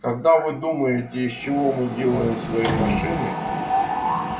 когда вы думаете из чего мы делаем свои машины